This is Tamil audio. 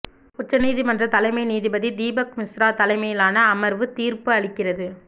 உச்ச நீதிமன்ற தலைமை நீதிபதி தீபக் மிஸ்ரா தலைமையிலான அமர்வு தீர்ப்பு அளிக்கிறது